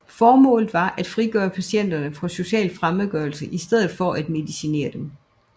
Formålet var at frigøre patienterne fra social fremmedgørelse i stedet for at medicinere dem